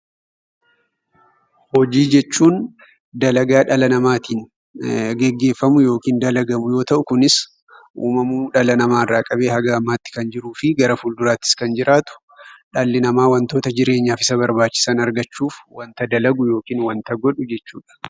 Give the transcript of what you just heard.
Hojii jechuun dalagaa dhala namaatiin gaggeeffamu yookiin dalagamu yoo ta'u kunis uumamuu dhala namaarraa qabee haga ammaatti kan jiruu fi gara fuulduraattis kan jiraatu dhalli namaa wantoota jireenyaaf isa barbaachisan argachuuf wanta dalagu yookiin wanta godhu jechuudha.